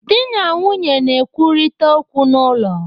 Di na nwunye na-ekwurịta okwu n'ụlọ.